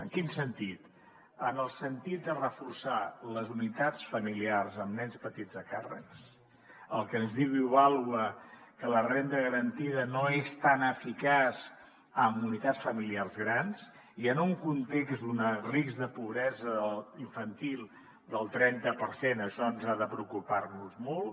en quin sentit en el sentit de reforçar les unitats familiars amb nens petits a càrrec el que ens diu ivàlua que la renda garantida no és tan eficaç amb unitats familiars grans i en un context d’un risc de pobresa infantil del trenta per cent això ha de preocupar nos molt